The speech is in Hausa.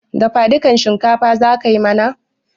Dafadukan shinkafa za ka yi mana?